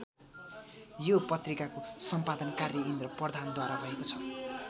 यो पत्रिकाको सम्पादन कार्य इन्द्र प्रधानद्वारा भएको छ।